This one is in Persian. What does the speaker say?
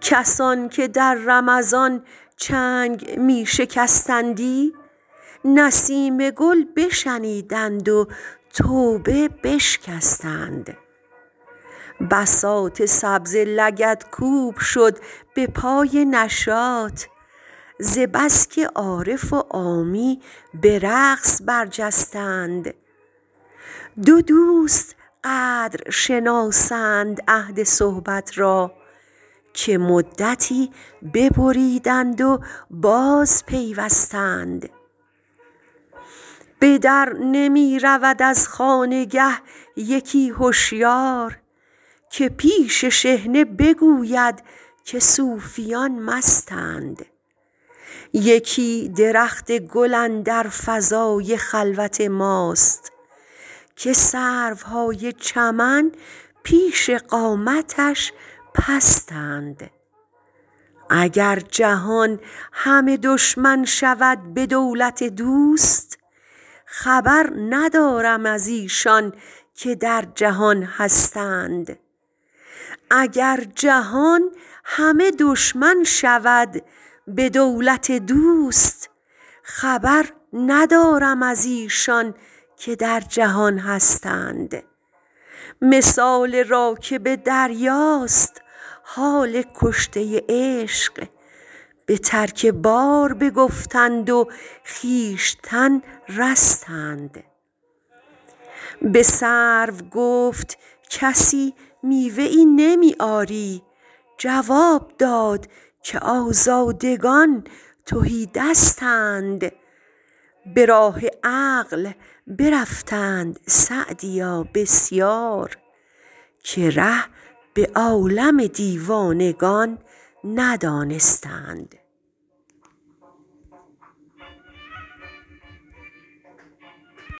کسان که در رمضان چنگ می شکستندی نسیم گل بشنیدند و توبه بشکستند بساط سبزه لگدکوب شد به پای نشاط ز بس که عارف و عامی به رقص برجستند دو دوست قدر شناسند عهد صحبت را که مدتی ببریدند و بازپیوستند به در نمی رود از خانگه یکی هشیار که پیش شحنه بگوید که صوفیان مستند یکی درخت گل اندر فضای خلوت ماست که سروهای چمن پیش قامتش پستند اگر جهان همه دشمن شود به دولت دوست خبر ندارم از ایشان که در جهان هستند مثال راکب دریاست حال کشته عشق به ترک بار بگفتند و خویشتن رستند به سرو گفت کسی میوه ای نمی آری جواب داد که آزادگان تهی دستند به راه عقل برفتند سعدیا بسیار که ره به عالم دیوانگان ندانستند